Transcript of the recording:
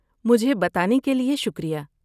مجھے بتانے کے لیے شکریہ۔